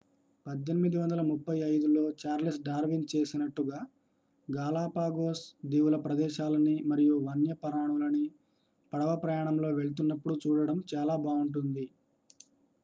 1835లో Charles Darwin చేసినట్టుగా Galapagos దీవుల ప్రదేశాలని మరియు వన్యప్రాణులని పడవ ప్రయాణంలో వెళ్తున్నప్పుడు చూడటం చాలా బావుంటుంది